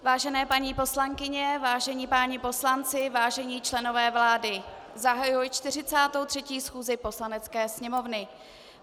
Vážené paní poslankyně, vážení páni poslanci, vážení členové vlády, zahajuji 43. schůzi Poslanecké sněmovny.